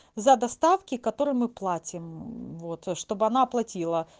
за доставки которые мы платим вот чтобы она оплатила